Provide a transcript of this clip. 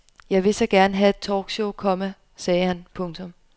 Jeg vil så gerne have et talk show, komma sagde han. punktum